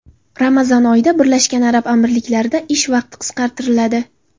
Ramazon oyida Birlashgan Arab Amirliklarida ish vaqti qisqartiriladi.